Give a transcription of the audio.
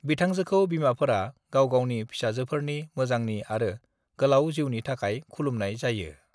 बिथांजोखौ बिमाफोरा गावगावनि फिसाफोरनि मोजांनि आरो गोलाव जिउनि थाखाय खुलुमनाइ जायो ।